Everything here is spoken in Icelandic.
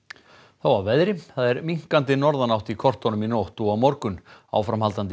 þá að veðri það er minnkandi norðanátt í kortunum í nótt og á morgun áframhaldandi